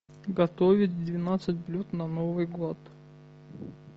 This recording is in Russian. готовить двенадцать блюд на новый год